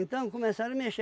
começaram a mexer.